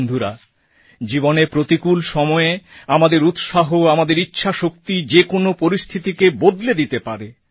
বন্ধুরা জীবনে প্রতিকূল সময়ে আমাদের উৎসাহ আমাদের ইচ্ছাশক্তি যে কোন পরিস্থিতিকে বদলে দিতে পারে